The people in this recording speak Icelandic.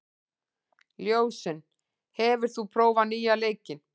Ljósunn, hefur þú prófað nýja leikinn?